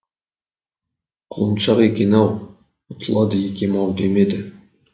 құлыншақ екен ау ұтылады екем ау демеді